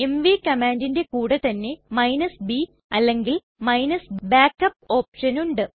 MV കമ്മാണ്ടിന്റെ കൂടെ തന്നെ b അല്ലെങ്കിൽ backup ഓപ്ഷൻ ഉണ്ട്